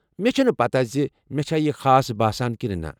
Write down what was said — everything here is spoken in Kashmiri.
مےٚ چھنہٕ پتہ ز مےٚ چھا یہ خاص باسان کنہِ نہٕ۔